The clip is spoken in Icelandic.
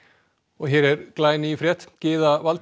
hér er ný frétt Gyða Valtýs